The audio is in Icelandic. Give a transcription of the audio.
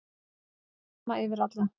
Það gildir sama yfir alla.